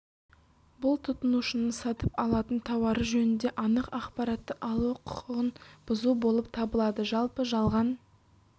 бұл тұтынушының сатып алатын тауары жөнінде анық ақпаратты алу құқығын бұзу болып табылады жалпы жалған